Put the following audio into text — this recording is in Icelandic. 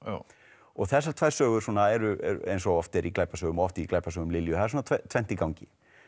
og þessar tvær sögur svona eru eins og oft er í glæpasögum og oft í glæpasögum Lilju það er svona tvennt í gangi